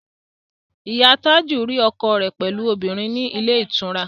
Ìyá Tájù rí ọkọ rẹ̀ pẹ̀lú obìnrin ní ilé ìtura